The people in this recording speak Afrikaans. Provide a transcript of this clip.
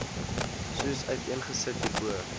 soos uiteengesit hierbo